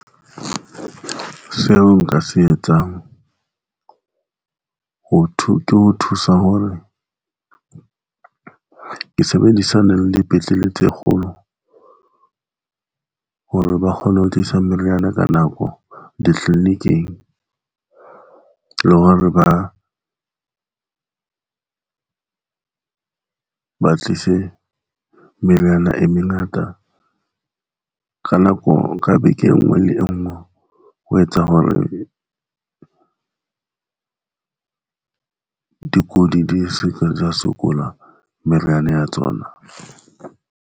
Seo nka se etsang? Ho thwe ke ho thusa hore o sebedisane le dipetlele tse kgolo hore ba kgone ho tlisa meriana ka nako ditliliniking, le hore ba ba tlise meriana e mengata ka nako ka beke. E nngwe le enngwe o etsa hore dikudi di seka, tsa sokola meriana ya tsona.